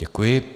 Děkuji.